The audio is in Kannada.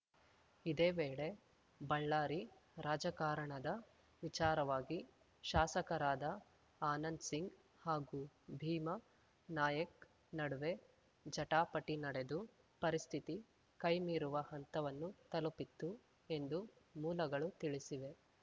ಇದೇ ವೇಳೆ ಬಳ್ಳಾರಿ ರಾಜಕಾರಣದ ವಿಚಾರವಾಗಿ ಶಾಸಕರಾದ ಆನಂದ್ ಸಿಂಗ್‌ ಹಾಗೂ ಭೀಮಾ ನಾಯಕ್ ನಡುವೆ ಜಟಾಪಟಿ ನಡೆದು ಪರಿಸ್ಥಿತಿ ಕೈ ಮೀರುವ ಹಂತವನ್ನು ತಲುಪಿತ್ತು ಎಂದು ಮೂಲಗಳು ತಿಳಿಸಿವೆ